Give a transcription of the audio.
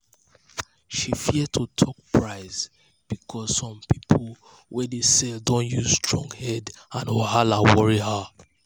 she fear to talk price because before some people way dey sell don use strong head and wahala worry her.